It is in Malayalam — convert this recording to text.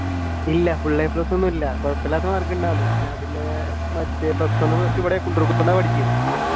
ഇല്ല full a plus ഒന്നും ഇല്ല കൊഴപ്പമില്ലാത്ത മാർക്ക് ഉണ്ടായിരുന്നു